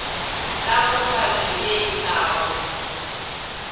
la kopano ye e tlago